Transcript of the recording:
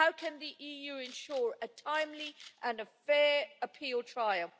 How can the EU ensure a timely and fair appeal trial?